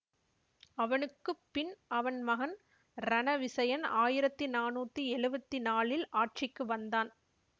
அவனுக்கு பின் அவன் மகன் ரணவிசயன் ஆயிரத்தி நானூத்தி எழுவத்தி நாலில் ஆட்சிக்கு வந்தான்